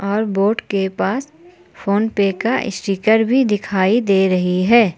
और बोर्ड के पास फोनपे का स्टीकर भी दिखाई दे रही है।